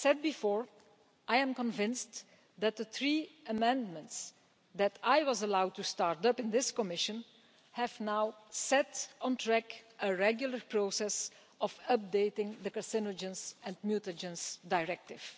As I said before, I am convinced that the three amendments which I was allowed to initiate in this Commission have now set on track a regular process of updating the Carcinogens and Mutagens Directive.